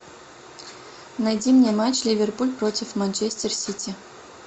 найди мне матч ливерпуль против манчестер сити